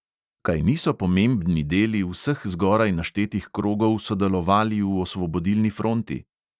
Kaj niso pomembni deli vseh zgoraj naštetih krogov sodelovali v osvobodilni fronti?